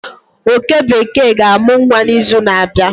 oke bekee ga-amụ nwa n'izu na-abịa